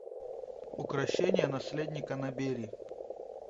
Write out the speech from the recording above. укрощение наследника набери